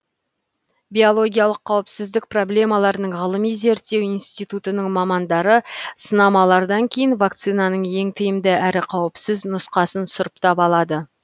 биологиялық қауіпсіздік проблемаларының ғылыми зерттеу институтының мамандары сынамалардан кейін вакцинаның ең тиімді әрі қауіпсіз нұсқасын сұрыптап алады